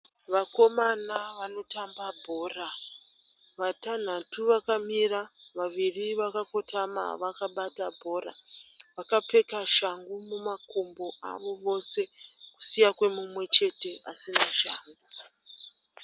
Vakomana vanotamba bhora vatanhatu vakamira vaviri vakakotama vakabata bhora vakapfeka shangu mumakumbo avo vose kusiya kwemumwe chete asina shangu.